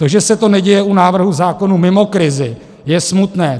To, že se to neděje u návrhů zákonů mimo krizi, je smutné.